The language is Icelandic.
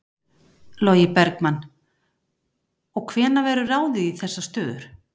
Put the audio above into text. Logi Bergmann: Og hvenær verður ráðið í þessar stöður?